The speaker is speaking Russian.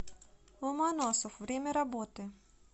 ломоносов время работы